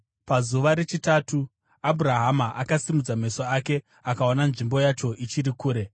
Pazuva rechitatu, Abhurahama akasimudza meso ake akaona nzvimbo yacho ichiri kure.